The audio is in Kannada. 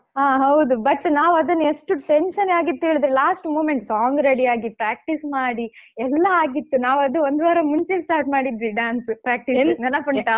ಹಾ ಹೌದು but ನಾವ್ ಅದನ್ ಎಷ್ಟು tension ಆಗಿತ್ತು ಹೇಳಿದ್ರೆ last moment song ready ಯಾಗಿ practice ಮಾಡಿ ಎಲ್ಲಾ ಆಗಿತ್ತು ನಾವ್ ಅದು ಒಂದು ವಾರ ಮುಂಚೆ start ಮಾಡಿದ್ವಿ dance practice ನೆನಪುಂಟಾ?